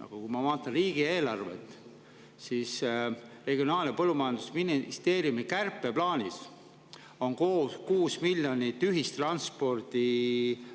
Aga kui ma vaatan riigieelarvet, siis Regionaal‑ ja Põllumajandusministeeriumi kärpeplaanis 6 miljonit ühistranspordi